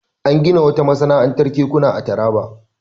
An gina wata masana'antar kekuna a Taraba.